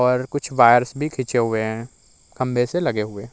कुछ वायरस भी खिचे हुए हैं खम्बे से लगे हुए --